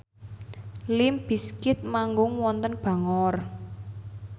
limp bizkit manggung wonten Bangor